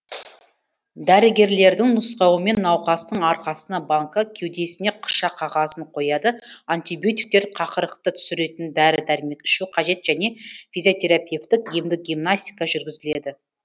дәрігерлердің нұсқауымен науқастың арқасына банка кеудесіне қыша қағазын қояды антибиотиктер қақырықты түсіретін дәрі дәрмек ішу қажет және физиотерапевтік емдік гимнастика жүргізіледі